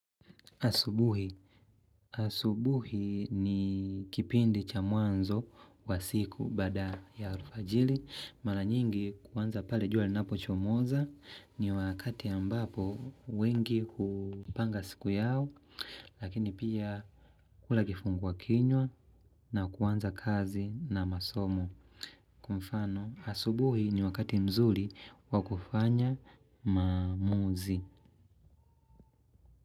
Asubuhi. Asubuhi ni kipindi cha mwanzo wa siku baada ya alfajiri. Mara nyingi kuanza pale jua linapochomoza ni wakati ambapo wengi hupanga siku yao. Lakini pia kula kifungua kinywa na kuanza kazi na masomo. Kwa mfano, asubuhi ni wakati mzuri wa kufanya maamuzi.